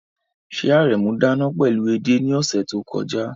Ṣé Aremu dáná pẹ̀lú ede ní ọ̀sẹ̀ tó kọjá?